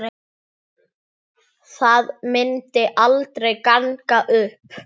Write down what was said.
Það myndi aldrei ganga upp.